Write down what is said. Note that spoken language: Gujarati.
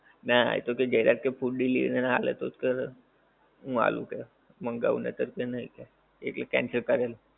ના એ તો જયરાજ કહે food delivery ના આલે તો હું આલુ કે મંગાવ કે નતર કે નહીં કે એટલે cancel કરેલ